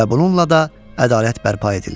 Və bununla da ədalət bərpa edildi.